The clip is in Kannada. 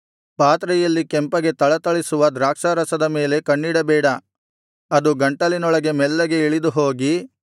ಪಾತ್ರೆಯಲ್ಲಿ ಕೆಂಪಗೆ ಥಳಥಳಿಸುವ ದ್ರಾಕ್ಷಾರಸದ ಮೇಲೆ ಕಣ್ಣಿಡಬೇಡ ಅದು ಗಂಟಲಿನೊಳಗೆ ಮೆಲ್ಲಗೆ ಇಳಿದುಹೋಗಿ